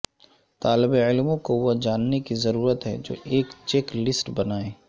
طالب علموں کو وہ جاننے کی ضرورت ہے جو ایک چیک لسٹ بنائیں